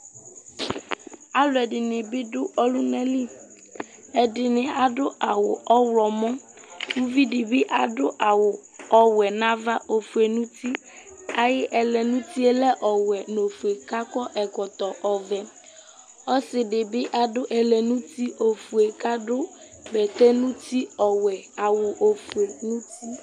Aluɛdini bi du ɔlunali ɛdini adu awu ɔɣlomɔ uvidi bi adu awu ɔwɛ nava ofue nu uti ayu ɛlɛ nu utie lɛ ɔwɛ nu ofue ku akɔ ɛkɔtɔ ɔvɛ ɔsidi bi adu ɛlɛ nu uti ofue kadu bɛtɛ nu uti ɔwɛ awu ofue nu uti